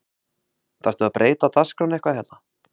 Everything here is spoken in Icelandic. Þarftu að breyta dagskránni eitthvað hérna